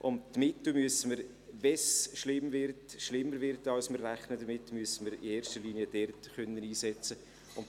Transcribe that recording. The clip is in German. Die Mittel müssen wir in erster Linie dort einsetzen können, wenn es schlimm wird, wenn es schlimmer wird als wir denken.